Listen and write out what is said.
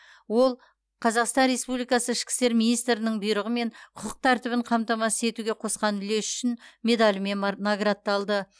ол қазақстан республикасы ішкі істер министрінің бұйрығымен құқық тәртібін қамтамасыз етуге қосқан үлесі үшін медалімен мар наградталды